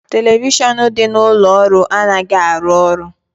Televishion dị n'ụlọ ọrụ anaghị arụ ọrụ